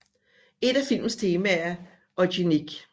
Et af filmens temaer er eugenik